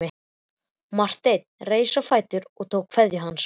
Marteinn reis á fætur og tók kveðju hans.